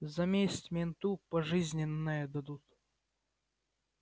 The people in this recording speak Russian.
за месть менту пожизненное дадут